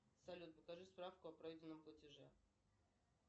салют покажи справку о пройденном платеже